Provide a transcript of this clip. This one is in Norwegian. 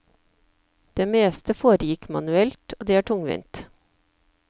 Det meste foregikk manuelt, og det er tungvint.